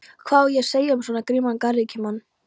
Hvað á að segja um svo grimman garðyrkjumann?